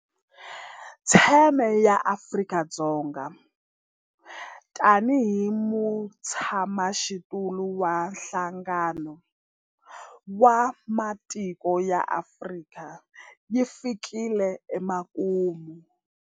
Theme ya Afrika-Dzonga tanihi mutshamaxitulu wa Nhlangano wa Matiko ya Afrika yi fikile emakumu.